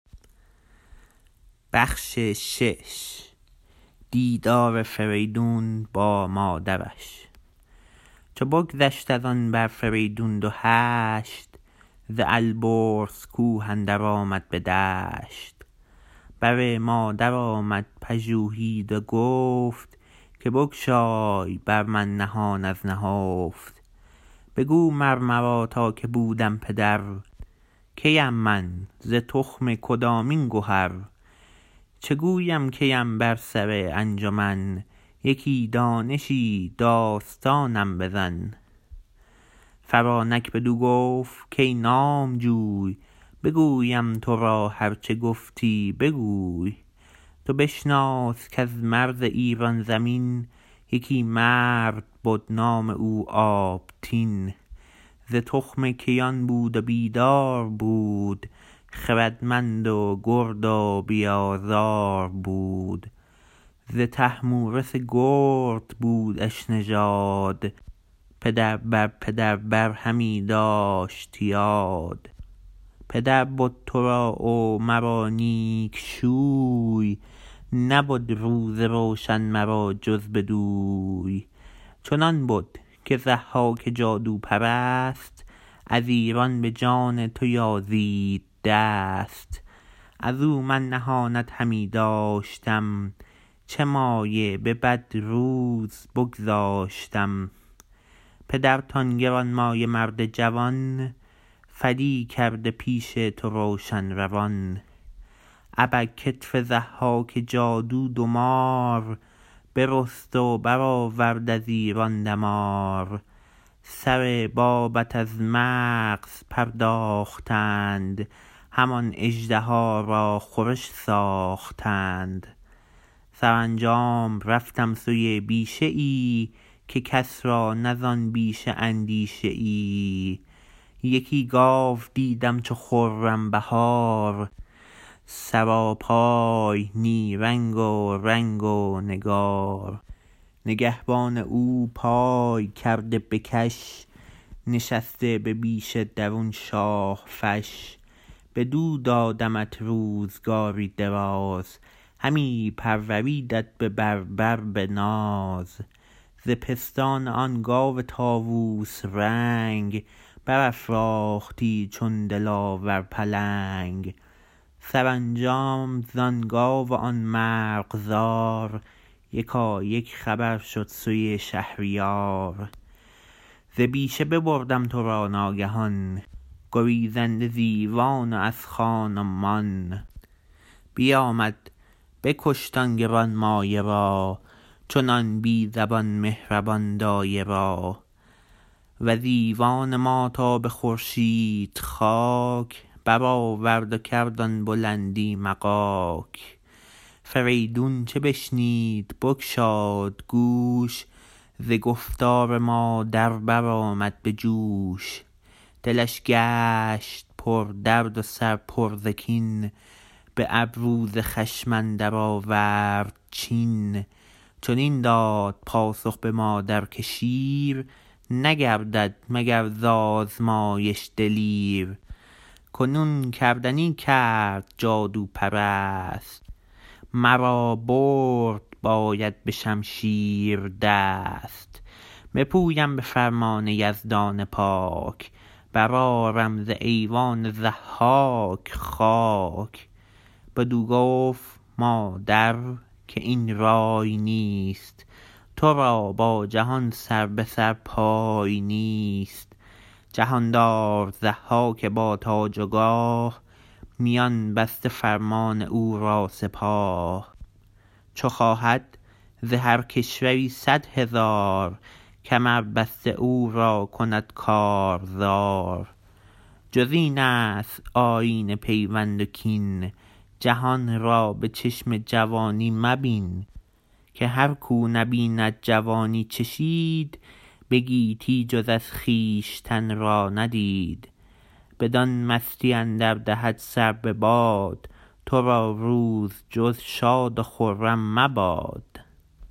چو بگذشت از آن بر فریدون دو هشت ز البرز کوه اندر آمد به دشت بر مادر آمد پژوهید و گفت که بگشای بر من نهان از نهفت بگو مر مرا تا که بودم پدر کیم من ز تخم کدامین گهر چه گویم کیم بر سر انجمن یکی دانشی داستانم بزن فرانک بدو گفت کای نامجوی بگویم تو را هر چه گفتی بگوی تو بشناس کز مرز ایران زمین یکی مرد بد نام او آبتین ز تخم کیان بود و بیدار بود خردمند و گرد و بی آزار بود ز طهمورث گرد بودش نژاد پدر بر پدر بر همی داشت یاد پدر بد تو را و مرا نیک شوی نبد روز روشن مرا جز بدوی چنان بد که ضحاک جادوپرست از ایران به جان تو یازید دست از او من نهانت همی داشتم چه مایه به بد روز بگذاشتم پدرت آن گرانمایه مرد جوان فدی کرده پیش تو روشن روان ابر کتف ضحاک جادو دو مار برست و برآورد از ایران دمار سر بابت از مغز پرداختند همان اژدها را خورش ساختند سرانجام رفتم سوی بیشه ای که کس را نه زآن بیشه اندیشه ای یکی گاو دیدم چو خرم بهار سراپای نیرنگ و رنگ و نگار نگهبان او پای کرده به کش نشسته به بیشه درون شاه فش بدو دادمت روزگاری دراز همی پروردیدت به بر بر به ناز ز پستان آن گاو طاووس رنگ برافراختی چون دلاور پلنگ سرانجام زآن گاو و آن مرغزار یکایک خبر شد سوی شهریار ز بیشه ببردم تو را ناگهان گریزنده ز ایوان و از خان و مان بیامد بکشت آن گرانمایه را چنان بی زبان مهربان دایه را وز ایوان ما تا به خورشید خاک برآورد و کرد آن بلندی مغاک فریدون چو بشنید بگشاد گوش ز گفتار مادر برآمد به جوش دلش گشت پردرد و سر پر ز کین به ابرو ز خشم اندر آورد چین چنین داد پاسخ به مادر که شیر نگردد مگر ز آزمایش دلیر کنون کردنی کرد جادوپرست مرا برد باید به شمشیر دست بپویم به فرمان یزدان پاک برآرم ز ایوان ضحاک خاک بدو گفت مادر که این رای نیست تو را با جهان سر به سر پای نیست جهاندار ضحاک با تاج و گاه میان بسته فرمان او را سپاه چو خواهد ز هر کشوری صدهزار کمر بسته او را کند کارزار جز این است آیین پیوند و کین جهان را به چشم جوانی مبین که هر کاو نبید جوانی چشید به گیتی جز از خویشتن را ندید بدان مستی اندر دهد سر بباد تو را روز جز شاد و خرم مباد